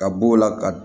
Ka b'o la ka